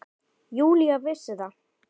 Júlía vissi það.